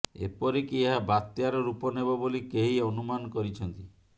ଏପରିକି ଏହା ବତ୍ୟାର ରୂପ ନେବ ବୋଲି କେହି ଅନୁମାନ କରିଛନ୍ତି